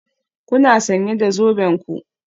Kuna sanye da zoben ku?